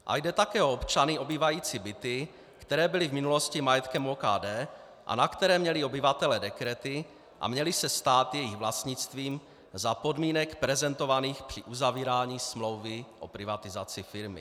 A jde také o občany obývající byty, které byly v minulosti majetkem OKD a na které měli obyvatelé dekrety a měly se stát jejich vlastnictvím za podmínek prezentovaných při uzavírání smlouvy o privatizaci firmy.